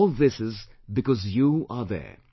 All this is because you are there,